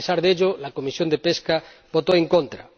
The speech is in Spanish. A pesar de ello, la Comisión de Pesca votó en contra.